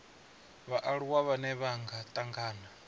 vhaaluwa vhane vha nga tangana